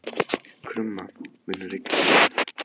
Krumma, mun rigna í dag?